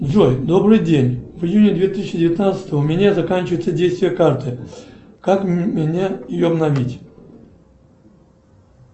джой добрый день в июне две тысячи девятнадцатого у меня заканчивается действие карты как мне ее обновить